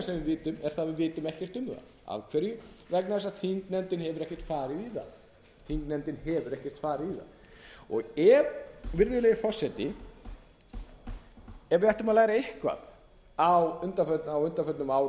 vitum er það að við vitum ekkert um það af hverju vegna þess að þingnefndin hefur ekkert farið í það virðulegi forseti ef við ættum að læra eitthvað á undanförnum